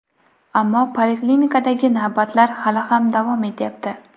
Ammo poliklinikadagi navbatlar hali ham davom etyapti.